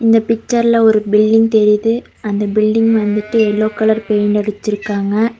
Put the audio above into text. இந்த பிச்சர்ல ஒரு பில்டிங் தெரியுது அந்த பில்டிங் வந்துட்டு எல்லோ கலர் பெயிண்ட் அடிச்சிருக்காங்க.